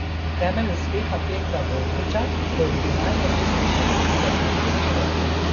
Temelj uspeha Petra Vogriča so originalne tehnične rešitve pri teh strojih.